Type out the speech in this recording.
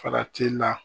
Farati la